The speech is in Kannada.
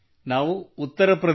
ಧನ್ಯವಾದ ಸರ್ ಥಾಂಕ್ ಯೂ ಸಿರ್